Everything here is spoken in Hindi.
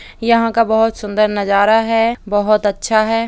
यहाँ का बहुत सुन्दर नजारा है बहुत अच्छा है।